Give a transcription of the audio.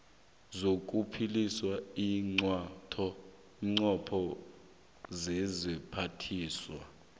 zokuphikisa iinqunto zesiphathiswa